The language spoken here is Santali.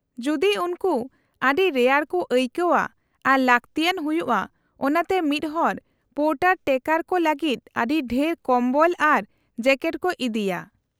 -ᱡᱩᱫᱤ ᱩᱱᱠᱩ ᱟᱹᱰᱤ ᱨᱮᱭᱟᱲ ᱠᱚ ᱟᱹᱭᱠᱟᱹᱣᱼᱟ ᱟᱨ ᱞᱟᱹᱠᱛᱤᱭᱟᱱ ᱦᱩᱭᱩᱜᱼᱟ ᱚᱱᱟᱛᱮ ᱢᱤᱫ ᱦᱚᱲ ᱯᱳᱨᱴᱟᱨ ᱴᱨᱮᱠᱟᱨ ᱠᱚ ᱞᱟᱹᱜᱤᱫ ᱟᱹᱰᱤ ᱰᱷᱮᱨ ᱠᱚᱢᱵᱚᱞ ᱟᱨ ᱡᱮᱠᱮᱴ ᱠᱚ ᱤᱫᱤᱭᱟ ᱾